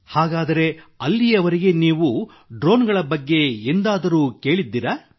ಹಾಗಾದರೆ ಅಲ್ಲಿಯವರೆಗೆ ನೀವು ಡ್ರೋನ್ಗಳ ಬಗ್ಗೆ ಎಂದಾದರೂ ಕೇಳಿದ್ದೀರಾ